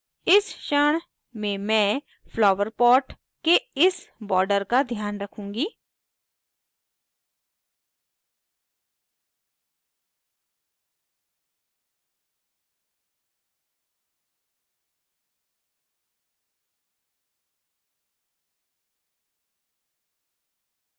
इस क्षण में मैं flower pot के इस border का ध्यान रखूंगी